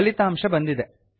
ಫಲಿತಾಂಶ ಬಂದಿದೆ